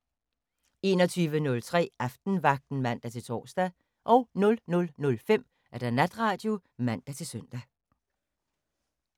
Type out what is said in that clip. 21:03: Aftenvagten (man-tor) 00:05: Natradio (man-søn)